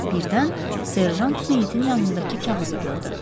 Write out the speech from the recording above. Birdən serjant meyitin yanındakı kağızı gördü.